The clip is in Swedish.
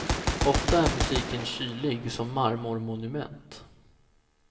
Ofta är musiken kylig som marmormonument.